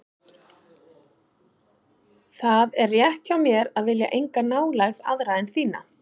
Það er rétt hjá mér að vilja enga nálægð aðra en þína.